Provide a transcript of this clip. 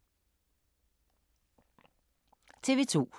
TV 2